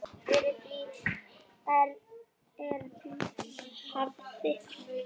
Fyrir því er rík hefð.